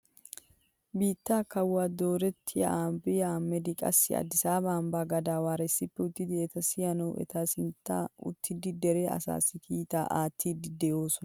Biittaa kawuwaa dorrotiyaa ahimeda aabiranne qassi adisaaba ambbaa gadaweera issippe uttida eta siyanawu eta sinttan uttida dere asaassi kiitaa aattidi de'oosona.